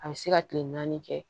A bɛ se ka kile naani kɛ